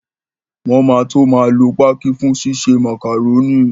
Wọn máa tó máa lo pákí fún ṣíṣe màkàrónì